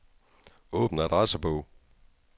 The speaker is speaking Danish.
Åbn adressebog.